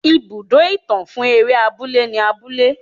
Ibùdó ìtàn fún eré abúlé ni abúlé.